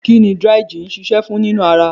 Kí ni dry gin ń ṣiṣẹ́ fún nínú ara?